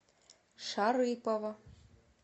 шарыпово